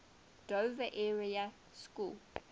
dover area school